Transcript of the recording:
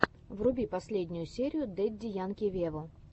вруби последнюю серию дэдди янки вево